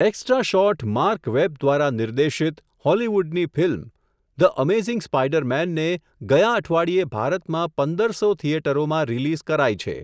Extra shot Mark Webb દ્વારા નિર્દેશિત, હોલિવૂડની ફિલ્મ, ધ અમેઝિંગ સ્પાઈડરમેન ને, ગયા અઠવાડિયે ભારતમાં પંદર સો થિયેટરોમાં રિલીઝ કરાઈ છે.